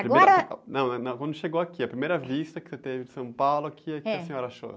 Agora?ão, né? Não, quando chegou aqui, a primeira vista que você teve de São Paulo, o quê que a senhora achou?